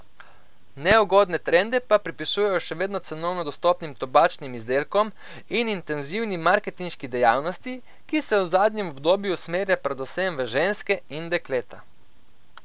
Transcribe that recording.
Neugodne trende pa pripisujejo še vedno cenovno dostopnim tobačnim izdelkom in intenzivni marketinški dejavnosti, ki se v zadnjem obdobju usmerja predvsem v ženske in dekleta.